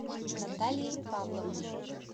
натальей павловной